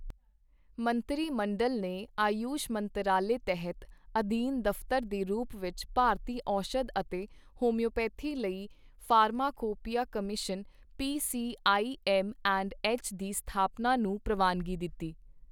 ਮੰਤਰੀ ਮੰਡਲ ਨੇ ਆਯੁਸ਼ ਮੰਤਰਾਲੇ ਤਹਿਤ ਅਧੀਨ ਦਫ਼ਤਰ ਦੇ ਰੂਪ ਵਿੱਚ ਭਾਰਤੀ ਔਸ਼ਧ ਅਤੇ ਹੋਮਿਓਪੈਥੀ ਲਈ ਫਾਰਮਾਕੋਪੀਆ ਕਮਿਸ਼ਨ ਪੀਸੀਆਈਐੱਮਐਂਡਐੱਚ ਦੀ ਸਥਾਪਨਾ ਨੂੰ ਪ੍ਰਵਾਨਗੀ ਦਿੱਤੀ